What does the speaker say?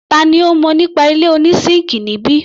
Tani ó mọ nípa ilé oní síńkì níbí?